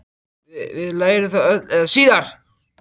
Við lærum það öll eða síðar.